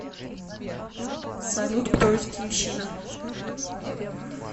салют кто из киевщина